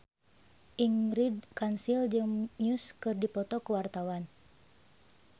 Ingrid Kansil jeung Muse keur dipoto ku wartawan